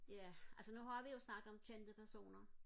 ja altså nu har vi jo snakket om kendte personer